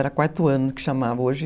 Era quarto ano que chamava, hoje...